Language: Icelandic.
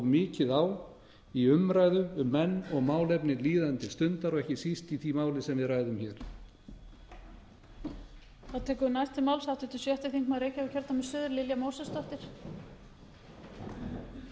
mikið á í umræðu um menn og málefni líðandi stundar og ekki síst í því máli sem við ræðum hér